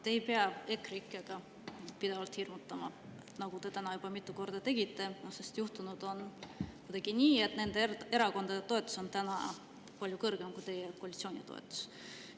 Te ei pea EKREIKE‑ga pidevalt hirmutama, nagu te täna juba mitu korda tegite, sest kuidagi on juhtunud nii, et nende erakondade toetus on palju kõrgem kui teie koalitsiooni toetus.